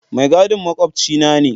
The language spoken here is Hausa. Mai gadin makwabcina ne.